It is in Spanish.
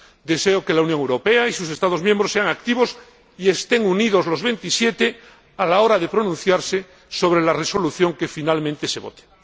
Deseo que la Unión Europea y sus Estados miembros sean activos y que los Veintisiete estén unidos a la hora de pronunciarse sobre la resolución que finalmente se vote.